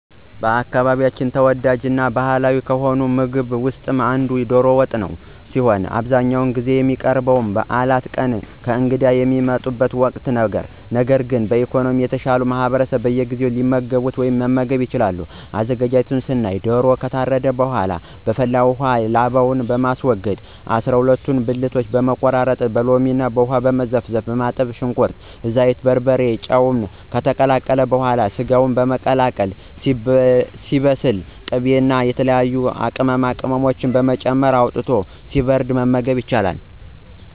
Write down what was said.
በአካባቢያችን ተወዳጅ እና ባህላዊ ከሆነው ምግብ ውስጥ አንዱ ዶሮ ወጥ ሲሆን በአብዛኛውን ጊዜ የሚቀርበው በበዓላት ቀን እና እንግዳ በሚመጣበት ወቅት ነው። ነገር ግን በኢኮኖሚ የተሻለው ማህበረሰብ በየጊዜው የሚመገበው ምግብ ነው። አዘገጃጀቱን ስናይ ዶሮው ከታረደ በኃላ በፈላ ውሃ ላባውን በማስወገድ ከ አሰራ ሁለት ብልቱን በመቆራረጥ በሎሚ እና ውሃ ዘፍዝፎ በማጠብ ሽንኩርት፣ ዘይት፣ በርበሬ ጨምሮ ከተቁላላ በኃላ ሰጋውን በመቀላቀል ሲበስል ቅቤ እና የተለያዩ ቅመማቅመሞችን በመጨመር አውጥቶ ሲበርድ መመገብ።